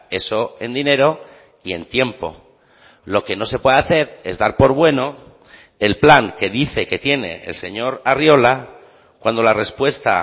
eso en dinero y en tiempo lo que no se puede hacer es dar por bueno el plan que dice que tiene el señor arriola cuando la respuesta